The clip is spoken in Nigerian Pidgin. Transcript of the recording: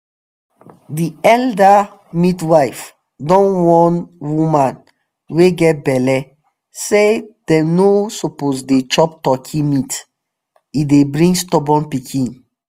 the elder midwife don warn woman wey get belle say them no suppose dey chop turkey meat - e dey bring stubborn pikin.